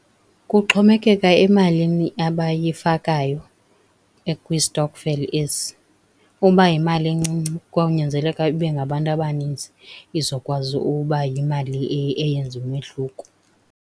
Kuxhomekeka emalini abayifakayo kwistokfela esi, uba yimali encinci kwawunyanzeleka ibe ngabantu abanintsi, izokwazi uba yimali eyenza umahluko.